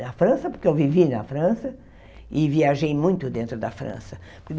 Na França, porque eu vivi na França e viajei muito dentro da França.